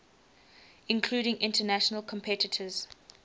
including international competitors